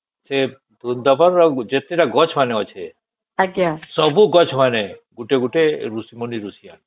ଯେ ବୃନ୍ଦାବନ ରେ ଯେତେ ଟା ଗଛ ମାନେ ଅଛେ ସବୁ ଗଛ ମାନେ ଗୋଟେ ଗୋଟେ ମୁନି ରୁଷି ମାନେ